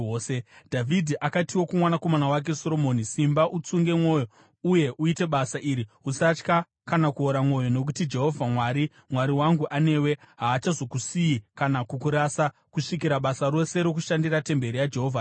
Dhavhidhi akatiwo kumwanakomana wake Soromoni, “Simba utsunge mwoyo, uye uite basa iri. Usatya kana kuora mwoyo, nokuti Jehovha Mwari, Mwari wangu, anewe. Haachazokusiyi kana kukurasa, kusvikira basa rose rokushandira temberi yaJehovha rapera.